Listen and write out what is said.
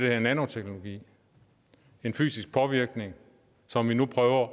hedder nanoteknologi en fysisk påvirkning som vi nu prøver